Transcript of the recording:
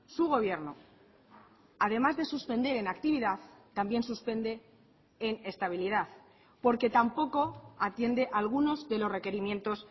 su gobierno además de suspender en actividad también suspende en estabilidad porque tampoco atiende algunos de los requerimientos